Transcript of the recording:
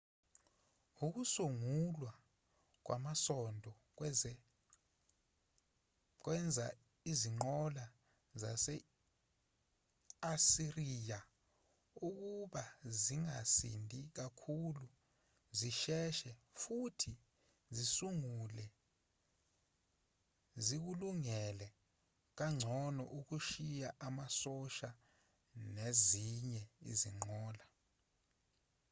ukusungulwa kwamasondo kwenza izinqola zase-asiriya ukuba zingasindi kakhulu zisheshe futhi zikulungele kangcono ukushiya amasosha nezinye izinqola